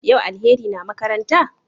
Yau Alheri na makaranta?